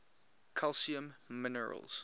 calcium minerals